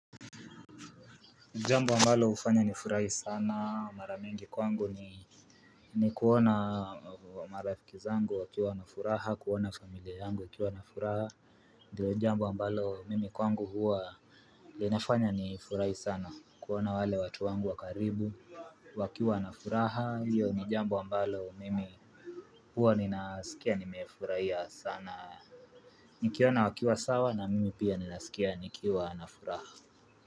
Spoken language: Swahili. Jambo ambalo hufanya ni furahi sana mara mingi kwangu ni ni kuona marafiki zangu wakiwa wana furaha kuona familia yangu wakiwa na furaha. Ndiyo jambo ambalo mimi kwangu huwa linafanya ni furahi sana kuona wale watu wangu wa karibu wakiwa wana furaha hiyo ni jambo ambalo mimi huwa ninasikia nimefurahia sana. Nikiona wakiwa sawa na mimi pia ninasikia nikiwa na furaha.